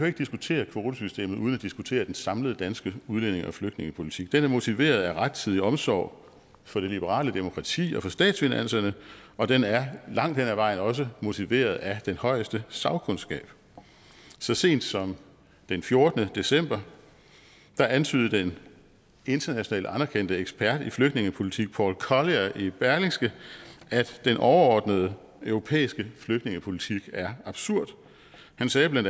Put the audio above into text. ikke diskutere kvotesystemet uden at diskutere den samlede danske udlændinge og flygtningepolitik er motiveret af rettidig omsorg for det liberale demokrati og for statsfinanserne og den er langt hen ad vejen også motiveret at den højeste sagkundskab så sent som den fjortende december antydede den internationalt anerkendte ekspert i flygtningepolitik paul collier i berlingske at den overordnede europæiske flygtningepolitik er absurd han sagde bla